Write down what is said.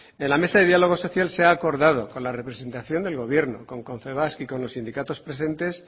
en la mesa de diálogo social se ha acordado con la representación del gobierno con confebask y con los sindicatos presentes